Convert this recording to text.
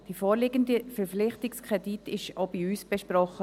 Der vorliegende Verpflichtungskredit wurde auch bei uns besprochen.